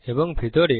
এবং ভিতরে